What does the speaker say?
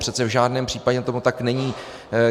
Přece v žádném případě tomu tak není.